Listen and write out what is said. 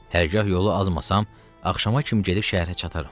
Hərgah yolu azmasam, axşama kimi gedib şəhərə çataram.